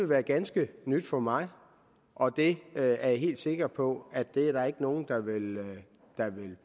være ganske nyt for mig og det er jeg helt sikker på at der ikke er nogen der vil